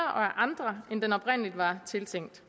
andre end den oprindelig var tiltænkt